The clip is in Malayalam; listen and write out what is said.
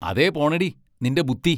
അതേ പോണെടീ, നിന്റെ ബുദ്ദി!